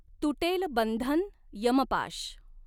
तुटॆल बंधन यमपाश.